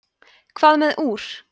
hvað með úr